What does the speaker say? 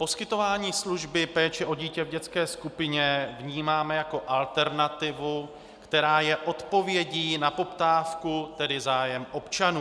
Poskytování služby péče o dítě v dětské skupině vnímáme jako alternativu, která je odpovědí na poptávku, tedy zájem občanů.